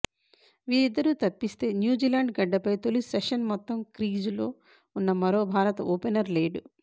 వీరిద్దరు తప్పిస్తే న్యూజిలాండ్ గడ్డపై తొలి సెషన్ మొత్తం క్రీజులో ఉన్న మరో భారత ఓపెనర్ లేడు